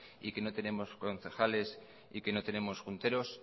y que no tenemos concejales y que no tenemos junteros